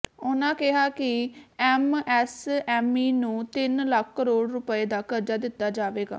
ਉਨ੍ਹਾਂ ਕਿਹਾ ਕਿ ਐਮਐਸਐਮਈ ਨੂੰ ਤਿੰਨ ਲੱਖ ਕਰੋੜ ਰੁਪਏ ਦਾ ਕਰਜ਼ਾ ਦਿੱਤਾ ਜਾਵੇਗਾ